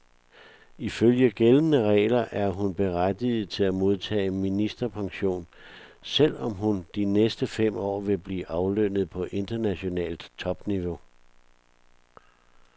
Ifølge gældende regler er hun berettiget til at modtage ministerpension, selv om hun de næste fem år vil blive aflønnet på internationalt topniveau.